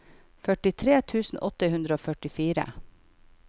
førtitre tusen åtte hundre og førtifire